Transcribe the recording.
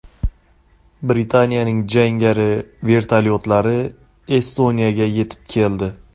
Britaniyaning jangari vertolyotlari Estoniyaga yetib keldi.